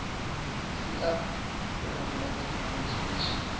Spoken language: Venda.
sia vhorabulasi vhanzhi vha tshi